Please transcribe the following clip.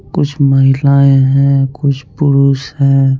कुछ महिलायें हैं कुछ पुरुष हैं।